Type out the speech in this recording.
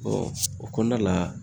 Ɔ o kɔnɔna la